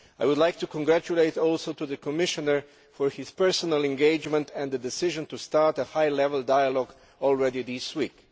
I would like to congratulate the Commissioner for his personal engagement and the decision to start a high level dialogue as early as this week.